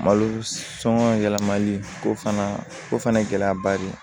Malo sɔngɔ yɛlɛmali o fana o fana gɛlɛyaba de ye